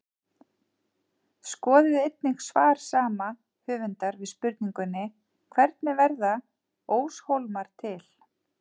Skoðið einnig svar sama höfundar við spurningunni Hvernig verða óshólmar til?